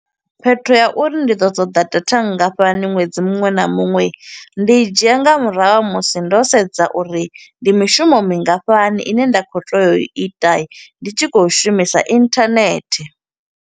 Phetho ya uri ndi ḓo ṱoḓa data nngafhani ṅwedzi muṅwe na muṅwe, ndi dzhia nga murahu ha musi ndo sedza uri ndi mishumo mingafhani ine nda khou tea u ita, ndi tshi khou shumisa internet.